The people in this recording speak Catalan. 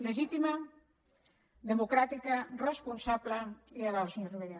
legítima democràtica responsable i legal senyor rivera